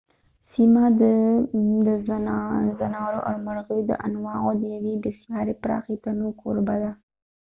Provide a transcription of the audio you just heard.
سیمه د د ځانورو او د مرغیو د انواعو د یوې بسیارې پراخې تنوع کوربه ده